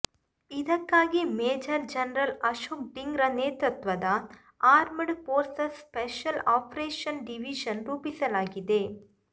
ಇದಕ್ಕಾಗಿ major general Ashok Dhingra ನೇತೃತ್ವದ armed forces special operation division ರೂಪಿಸಲಾಗಿದೆ